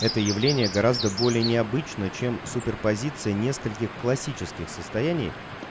это явление гораздо более необычно чем суперпозиция нескольких классических состояний